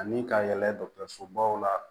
Ani ka yɛlɛ dɔ sobaw la